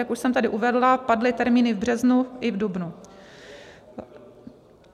Jak už jsem tady uvedla, padly termíny v březnu i v dubnu.